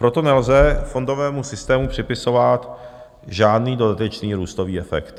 Proto nelze fondovému systému připisovat žádný dodatečný růstový efekt.